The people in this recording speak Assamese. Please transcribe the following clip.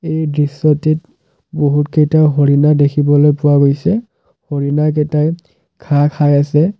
এই দৃশ্যটিত বহুতকেইটা হৰিণা দেখিবলৈ পোৱা গৈছে হৰিণাকেইটাই ঘাঁহ খাই আছে।